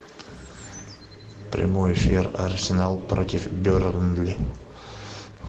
прямой эфир арсенал против бернли